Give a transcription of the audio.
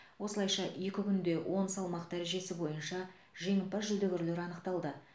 осылайша екі күнде он салмақ дәрежесі бойынша жеңімпаз жүлдегерлер анықталды